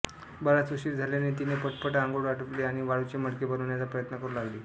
बराच उशीर झाल्याने तिने पटपट आंघोळ आटपली आणि वाळूचे मडके बनवण्याचा प्रयत्न करू लागली